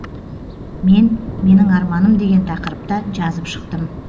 мен менің арманым деген тақырыпта жазып шықтым